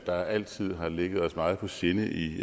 der altid har ligget os meget på sinde i